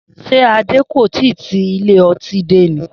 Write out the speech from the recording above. S̩é Adé kò ì tíì ti ilé o̩tí dé ni?